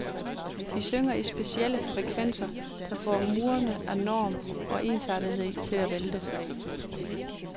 Vi synger i specielle frekvenser der får murene af norm og ensartethed til at vælte.